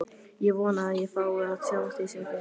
Ég vona að ég fái að sjá þig sem fyrst.